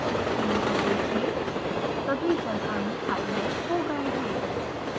screen को देखें सभी जल अणु हाईलाइट हो गये हैं